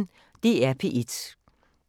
DR P1